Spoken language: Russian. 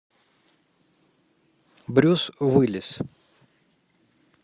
брюс уиллис